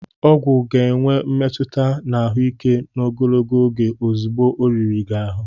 Ọgwụ ga-enwe mmetụta na ahụike n'ogologo oge ozugbo ọ riri gị ahụ